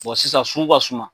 sisan sugu ka suma.